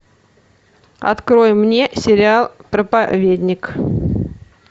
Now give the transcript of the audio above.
открой мне сериал проповедник